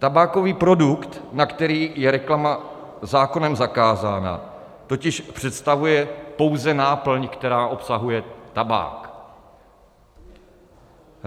Tabákový produkt, na který je reklama zákonem zakázána, totiž představuje pouze náplň, která obsahuje tabák.